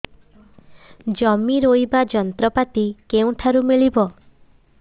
ଜମି ରୋଇବା ଯନ୍ତ୍ରପାତି କେଉଁଠାରୁ ମିଳିବ